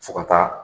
Fo ka taa